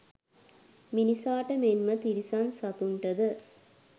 මිනිසාට මෙන්ම තිරිසන් සතුන්ටද